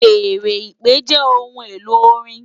Fèèrè ìpè jè óhùn-éló órin